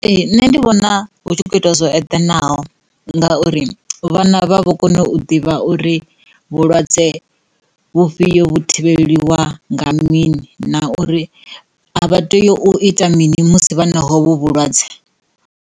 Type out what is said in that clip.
Ee, nṋe ndi vhona hu tshi khou itiwa zwo eḓanaho ngauri vhana vha vho kona u ḓivha uri vhulwadze vhufhio vhu thivheliwa nga mini na uri a vha tei u ita mini musi vha na ovhu vhulwadze.